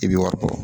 I bi wari bɔ